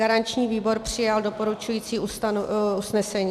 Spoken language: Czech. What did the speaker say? Garanční výbor přijal doporučující usnesení.